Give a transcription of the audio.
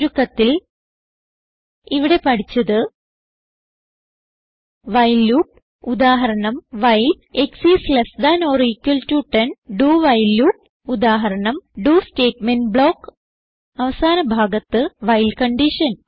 ചുരുക്കത്തിൽ ഇവിടെ പഠിച്ചത് വൈൽ ലൂപ്പ് ഉദാഹരണം വൈൽ dowhile ലൂപ്പ് ഉദാഹരണം ഡോ സ്റ്റേറ്റ്മെന്റ് ബ്ലോക്ക് അവസാന ഭാഗത്ത് വൈൽ കൺഡിഷൻ